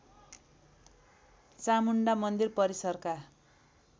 चामुण्डा मन्दिर परिसरका